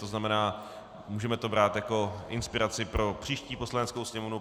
To znamená, můžeme to brát jako inspiraci pro příští Poslaneckou sněmovnu.